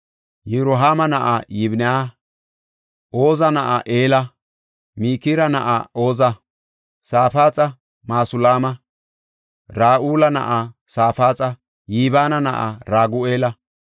Yirohaama na7aa Yibinaya, Oza na7aa Ela, Mikira na7aa Oza, Safaaxa Masulaama, Ra7uula na7aa Safaaxa, Yibina na7aa Ragu7eela.